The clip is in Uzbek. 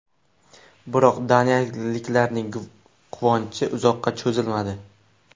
Biroq daniyaliklarning quvonchi uzoqqa cho‘zilmadi.